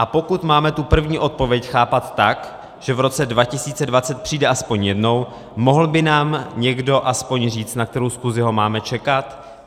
A pokud máme tu první odpověď chápat tak, že v roce 2020 přijde aspoň jednou, mohl by nám někdo aspoň říct, na kterou schůzi ho máme čekat?